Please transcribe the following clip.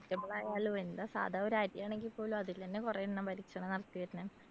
vegetable ആയാലും എന്താ സാധാ ഒരു അരിയാണെങ്കിപോലും അതിലന്നെ കൊറേ എണ്ണം കണക്കിന് വരുന്നുണ്ട്.